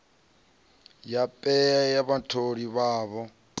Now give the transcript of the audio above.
ya paye ya vhatholi vhavho